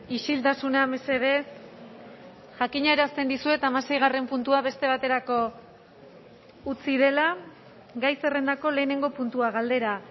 isiltasuna mesedez jakinarazten dizuet hamaseigarren puntua beste baterako utzi dela gai zerrendako lehenengo puntua galdera